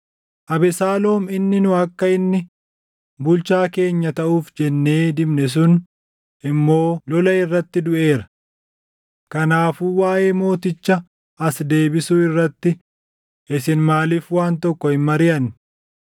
Abesaaloom inni nu akka inni bulchaa keenya taʼuuf jennee dibne sun immoo lola irratti duʼeera. Kanaafuu waaʼee mooticha as deebisuu irratti isin maaliif waan tokko hin mariʼanne?”